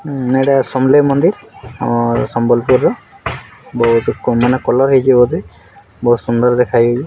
ଅମ୍‌ ଏଟା ସମଲେଇ ମନ୍ଦିର ଆମର୍‌ ସମ୍ବଲପୁର ର ବହୁତ କମ୍‌ ମାନେ କଲର ହେଇଛେ ବୋଧେ ବହୁତ ସୁନ୍ଦର ଦେଖା ହେଇ --